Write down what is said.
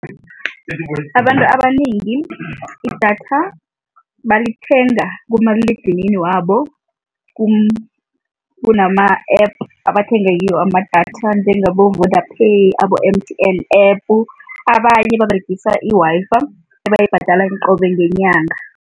Abantu abanengi idatha balithenga kumaliledinini wabo kulama-App abathenga kiwo amadatha njengabo-Vodapay abo-M_T_N App. Abanye baberegisa i-Wi-Fi ebayibhadala qobe ngenyanga.